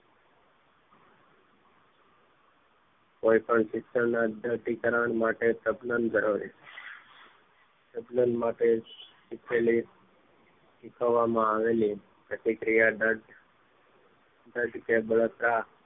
કોઈ પણ શિક્ષણના અધ્યાતીકાર માટે સપ્નૌમ ધરાવે સબનમ માટે શીખાયેલી શીખવવામાં આવેલી પ્રક્રિયા ના જે બળતા